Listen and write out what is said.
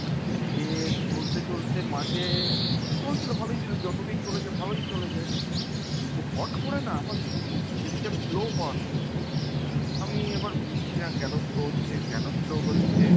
সে চলতে চলতে মাঝে, চলছিল ভালোই চলছিল। যতদিন চলেছে ভালোই চলেছে। কিন্তু হট করে না আমার system slow হওয়া শুরু করল। আমি এবার বুজ্ঝিনা কেন slow হচ্ছে কেন slow হচ্ছে,